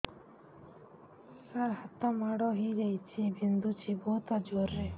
ସାର ହାତ ମାଡ଼ ହେଇଯାଇଛି ବିନ୍ଧୁଛି ବହୁତ ଜୋରରେ